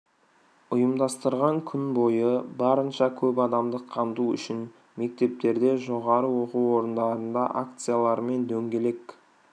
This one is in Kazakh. ұйымдастырған күн бойы барынша көп адамды қамту үшін мектептерде жоғары оқу орындарында акциялар мен дөңгелек